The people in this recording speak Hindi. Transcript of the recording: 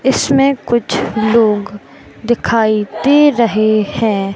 इसमें कुछ लोग दिखाई दे रहे है।